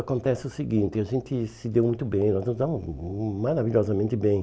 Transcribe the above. Acontece o seguinte, a gente se deu muito bem, nós nos damos maravilhosamente bem.